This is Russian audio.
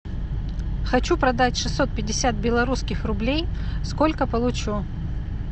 хочу продать шестьсот пятьдесят белорусских рублей сколько получу